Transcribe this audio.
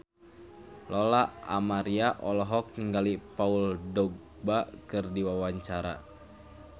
Lola Amaria olohok ningali Paul Dogba keur diwawancara